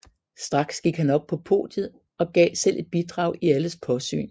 Straks gik han op på podiet og gav selv et bidrag i alles påsyn